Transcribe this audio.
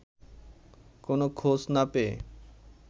কোন খোঁজ না পেয়ে